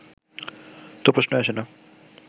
তো প্রশ্নই আসে না